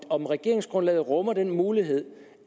om regeringsgrundlaget rummer den mulighed